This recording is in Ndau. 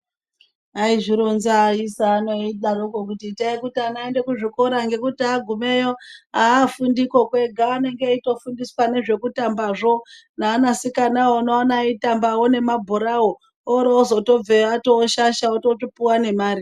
Aizvironza aisa ano eidaro kuti itai ana aende kuzvikora ngekuti angumeyo aafundiko kwega anenge eitofundiswa nezvekutambazvo neaana sikana unoona eitambawo nemabhorawo orooozotobveyo avashasha otopuwawo nemare.